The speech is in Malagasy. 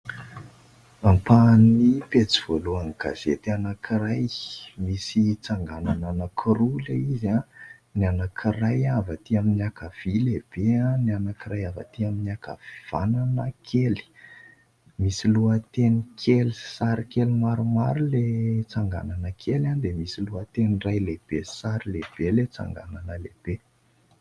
Ampahan'ny pejy voalohan'ny gazety anankiray. Misy tsanganana anankiroa ilay izy : ny anankiray avy atỳ amin'ny ankavia lehibe, ny anankiray avy atỳ amin'ny ankavanana kely. Misy lohateny kely, sary kely maromaro ilay tsanganana kely ; dia misy lohateny iray lehibe, sary lehibe ilay tsanganana lehibe.